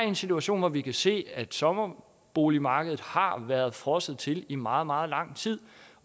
en situation hvor vi kan se at sommerboligmarkedet har været frosset til i meget meget lang tid